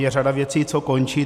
Je řada věcí, co končí.